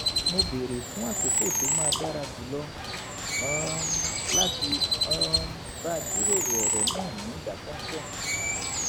mo béèrè fún àkókò tó máa dára jùlọ um láti um bá a jíròrò ọ̀rọ̀ náà ní ìdákọ́ńkọ́